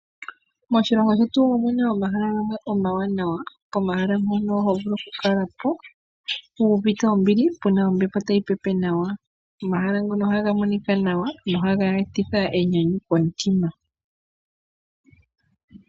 Moshilongo shetu omuna omahala gamwe omawaanawa, pomahala mbano ohovulu okukala po wuuvite ombili pena ombepo tayi pepe nawa. Omahala ngaka ohaga monika nawa noha ga etitha enyanyu komutima.